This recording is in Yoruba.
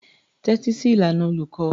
Tẹ́tí sí ìlànà olùkọ́.